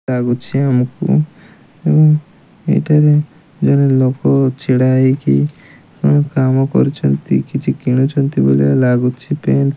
ଲାଗୁଛି ଆମକୁ ଏଇଠାରେ ଜଣେ ଲୋକ ଛିଡ଼ା ହେଇକି କଣ କାମ କରୁଛନ୍ତି କିଛି କିଣୁଛନ୍ତି ବୋଧେ ଲାଗୁଛି କି --